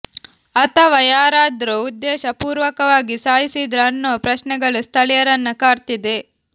ಅಥವಾ ಯಾರಾದ್ರೂ ಉದ್ದೇಶ ಪೂರ್ವಕವಾಗಿ ಸಾಯಿಸಿದ್ರಾ ಅನ್ನೋ ಪ್ರಶ್ನೆಗಳು ಸ್ಥಳೀಯರನ್ನ ಕಾಡ್ತಿದೆ